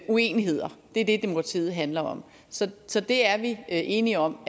uenigheder det er det demokratiet handler om så så det er vi enige om